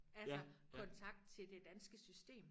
Altså kontakt til det danske system